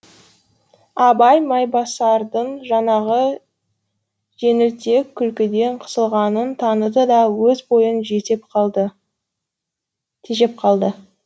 абай майбасардың жаңағы жеңілтек күлкіден қысылғанын таныды да өз бойын тежеп қалды